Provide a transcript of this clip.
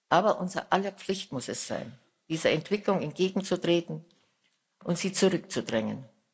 Aber unser aller Pflicht muss es sein, dieser Entwicklung entgegenzutreten und sie zurückzudrängen.